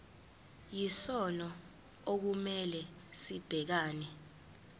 yisona okumele sibhekane